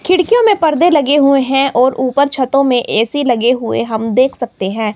खिड़कियों में पर्दे लगे हुए हैं और ऊपर छतों में ए_सी लगे हुए हम देख सकते हैं।